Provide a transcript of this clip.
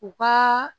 U ka